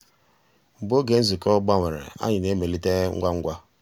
mgbeé ògé nzukọ́ gbànwèrè ànyị́ ná-èmélìté ngwá ngwá.